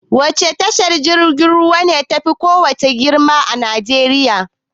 Wace tashar jirgin ruwa ne tafi kowace tasha girma a Najeriya.